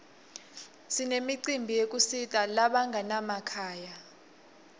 sinemicimbi yekusita labanganamakhaya